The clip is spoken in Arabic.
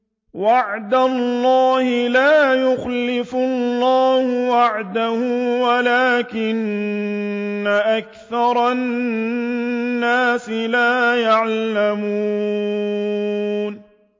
وَعْدَ اللَّهِ ۖ لَا يُخْلِفُ اللَّهُ وَعْدَهُ وَلَٰكِنَّ أَكْثَرَ النَّاسِ لَا يَعْلَمُونَ